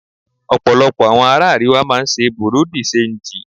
Ọ̀pọ̀lọpọ̀ àwọn ará Àríwá máa ń ṣe Bùrú dì ṣanjì.